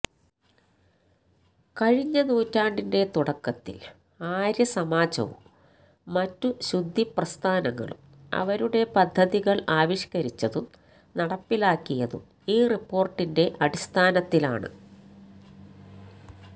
കഴിഞ്ഞ നൂറ്റാണ്ടിന്റെ തുടക്കത്തില് ആര്യ സമാജവും മറ്റു ശുദ്ധി പ്രസ്ഥാനങ്ങളും അവരുടെ പദ്ധതികള് ആവിഷ്കരിച്ചതും നടപ്പിലാക്കിയതും ഈ റിപ്പോര്ട്ടിന്റെ അടിസഥാനത്തിലാണ്